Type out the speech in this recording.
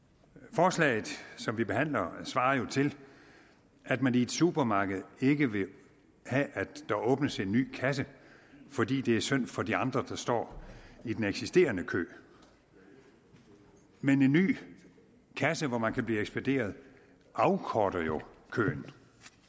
forslaget som vi behandler svarer jo til at man i et supermarked ikke vil have at der åbnes en ny kasse fordi det er synd for de andre der står i den eksisterende kø men en ny kasse hvor man kan blive ekspederet afkorter jo køen